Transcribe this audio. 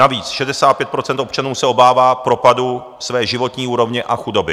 Navíc 65 % občanů se obává propadu své životní úrovně a chudoby.